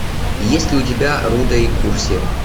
есть ли у тебя рудо и курси